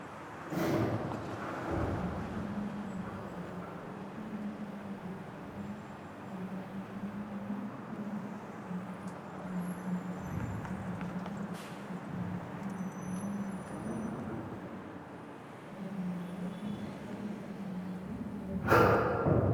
tini misile maa xawissannoro mito mittonkaricho kulummoro tini addi addicoy amaddinote tini misileno kultannori dadalo manchu hababe wodhe ofollinoti leeltannoe